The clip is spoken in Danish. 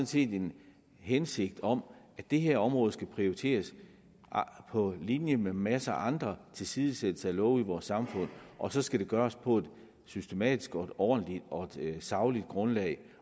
set en hensigt om at det her område skal prioriteres på linje med masser af andre tilsidesættelser af love i vores samfund og så skal det gøres på et systematisk ordentligt og sagligt grundlag